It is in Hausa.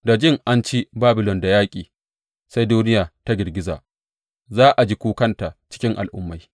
Da jin an ci Babilon da yaƙi sai duniya ta girgiza; za a ji kukanta cikin al’ummai.